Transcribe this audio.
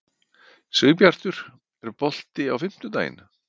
Sigbjartur, er bolti á fimmtudaginn?